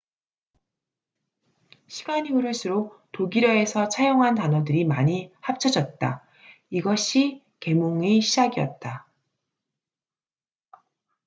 시간이 흐를수록 독일어에서 차용한 단어들이 많이 합쳐졌다 이것이 계몽의 시작이었다